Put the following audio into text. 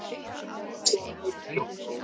Þinn sonur, Jón Þór.